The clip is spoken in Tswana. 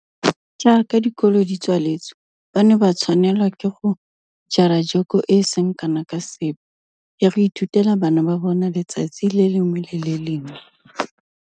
Jaaka dikolo di tswaletse, ba ne ba tshwanelwa ke go jara joko e e seng kana ka sepe ya go ithutela bana ba bona letsatsi le lengwe le le lengwe.